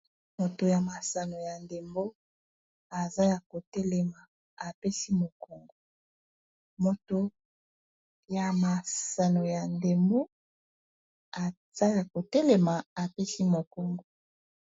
moto ya masano ya ndembo eaza ya kotelema apesi mokongo